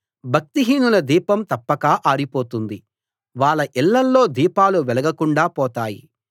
భక్తిహీనుల దీపం తప్పక ఆరిపోతుంది వాళ్ళ ఇళ్ళల్లో దీపాలు వెలగకుండా పోతాయి